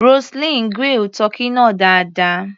Roseline grill tọ́kì náà dáadáa.